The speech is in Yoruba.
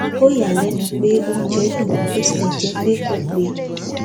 ó yà á lẹnu pé oúnjẹ dùn bó tilẹ jẹ pé kò pé